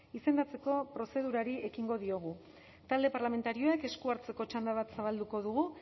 izendatzeko prozedurari ekingo diogu talde parlamentarioek esku hartzeko txanda bat zabalduko dugu